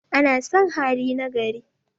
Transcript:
ana San hali na gari